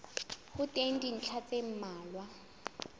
ho teng dintlha tse mmalwa